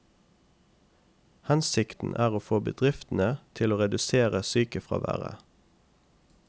Hensikten er å få bedriftene til å redusere sykefraværet.